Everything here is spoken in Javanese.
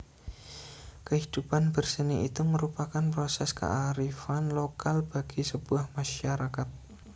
Kehidupan berseni itu merupakan proses kearifan lokal bagi sebuah masyarakat